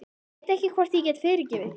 Ég veit ekki hvort ég get fyrirgefið þér.